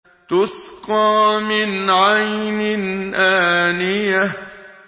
تُسْقَىٰ مِنْ عَيْنٍ آنِيَةٍ